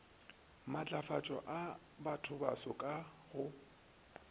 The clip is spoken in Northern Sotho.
matlafatšo a bathobaso ka go